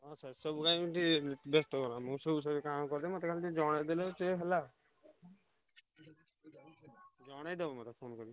ହଁ ସେସବୁ ପାଇଁ ଟିକେ ବେସ୍ତ ହୁଅନା ମୁଁ ସବୁ ସବୁ କାମ କରିଦେବି ମତେ ଖାଲି ଟିକେ ଜଣେଇଦେଲେ ସିଏ ହେଲା। ଜଣେଇଦବୁ ମତେ phone କରି।